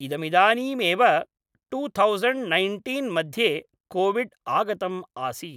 इदमिदानीमेव two thousand nineteen मध्ये Covid आगतम् आसीत्